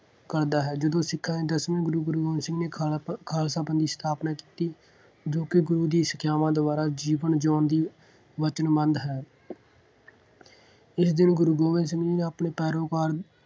ਕਰਦਾ ਹੈ। ਜਦੋਂ ਸਿੱਖਾਂ ਦੇ ਦਸਵੇਂ ਗੁਰੂ ਗੁਰੂ ਗੋਬਿੰਦ ਸਿੰਘ ਨੇ ਖਾਲਸਾ ਪੰਥ ਦੀ ਸਥਾਪਨਾ ਕੀਤੀ ਜੋ ਕਿ ਗੁਰੂ ਦੀ ਸਿੱਖਿਆਵਾਂ ਦੁਆਰਾ ਜੀਵਨ ਜਿਉਣ ਦੀ ਵਚਨਬੱਧ ਹੈ। ਇਸ ਦਿਨ ਗੁਰੂ ਗੋਬਿੰਦ ਸਿੰਘ ਜੀ ਨੇ ਆਪਣੇ ਪੈਰੋਕਾਰ